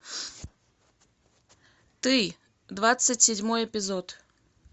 ты двадцать седьмой эпизод